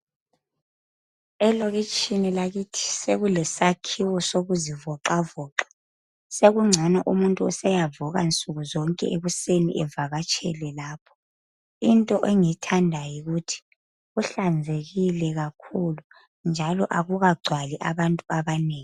Elokitshini lakithi sekulesakhiwo sokuzivoxavoxa. Sekungcono umuntu useyavuka nsukuzonke ekuseni evakatshele lapho. Into engiyithandayo yikuthi kuhlanzekile kakhulu njalo akukagcwali abantu abanengi.